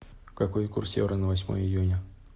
какой курс евро на восьмое июня